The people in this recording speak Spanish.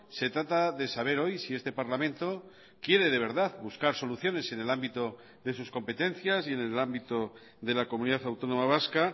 se trata de saber hoy si este parlamento quiere de verdad buscar soluciones en el ámbito de sus competencias y en el ámbito de la comunidad autónoma vasca